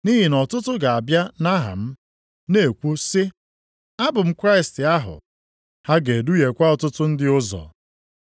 Nʼihi na ọtụtụ ga-abịa nʼaha m, na-ekwu sị, ‘Abụ m Kraịst ahụ.’ Ha ga-eduhiekwa ọtụtụ ndị ụzọ.